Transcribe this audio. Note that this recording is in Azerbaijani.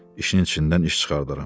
İşinin içindən iş çıxardaram.